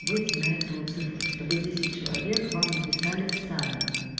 выйти на эту цифру чтобы десять человек вам написали сами